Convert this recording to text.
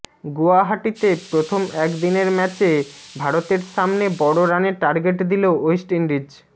গুয়াহাটিতে প্রথম একদিনের ম্যাচে ভারতের সামনে বড় রানের টার্গেট দিল ওয়েস্ট ইন্ডিজ